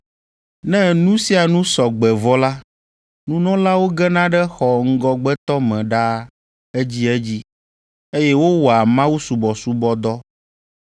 Ne nu sia nu sɔ gbe vɔ la, nunɔlawo gena ɖe xɔ ŋgɔgbetɔ me ɖaa edzedzi, eye wowɔa mawusubɔsubɔdɔ.